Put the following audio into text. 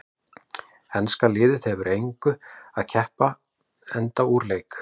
Enska liðið hefur að engu að keppa enda úr leik.